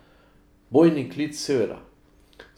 Bojni klic severa.